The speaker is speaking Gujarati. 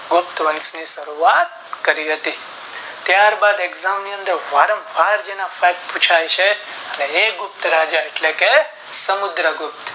ગુપ્ત વંશ ની શરૂઆત કરી હતી ત્યાર બાદ Exam ની અંદર વારંવાર જેના Pack પુછાય છે હે ગુપ્ત ના રાજા એટલેકે સમુદ્ર ગુપ્ત